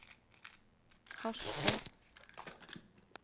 Harstad